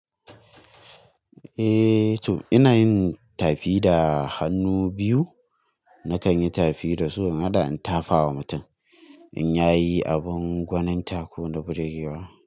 Eh to ina yin tafi da hannu biyu nakan yi tafi da su in hada in tafa wa mutum in yayi abin gwaninta ko na burgewa.